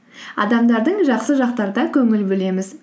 адамдардың жақсы көңіл бөлеміз